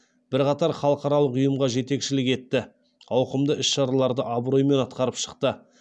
бірқатар халықаралық ұйымға жетекшілік етті ауқымды іс шараларды абыроймен атқарып шықты